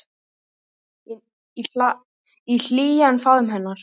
Í hlýjan faðm hennar.